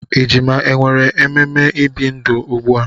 Ejima e nwere ememe ibi ndụ ugbu a?